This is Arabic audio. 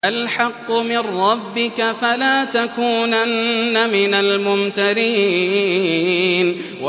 الْحَقُّ مِن رَّبِّكَ ۖ فَلَا تَكُونَنَّ مِنَ الْمُمْتَرِينَ